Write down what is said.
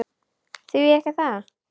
Því ekki það?